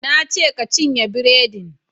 Na ce ka cinye buredin!